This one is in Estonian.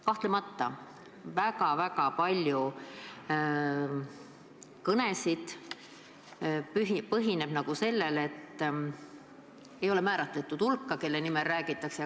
Samas väga paljude kõnede puhul ei ole määratletud hulk, kelle nimel räägitakse.